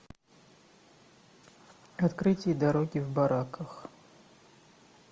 открытие дороги в бараках